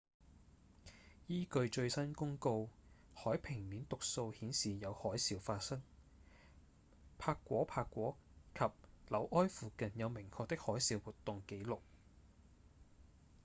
依據最新公告海平面讀數顯示有海嘯發生帕果帕果及紐埃附近有明確的海嘯活動紀錄